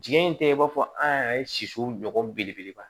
Jigi in tɛ i b'a fɔ an yɛrɛ ye sisi ɲɔgɔn belebeleba